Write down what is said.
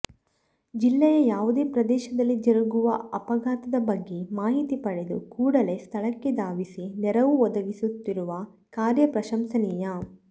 ಜಿಲ್ಲೆಯ ಯಾವುದೇ ಪ್ರದೇಶದಲ್ಲಿ ಜರುಗುವ ಅಪಘಾತದ ಬಗ್ಗೆ ಮಾಹಿತಿ ಪಡೆದು ಕೂಡಲೇ ಸ್ಥಳಕ್ಕೆ ಧಾವಿಸಿ ನೆರವು ಒದಗಿಸುತ್ತಿರುವ ಕಾರ್ಯ ಪ್ರಶಂಸನೀಯ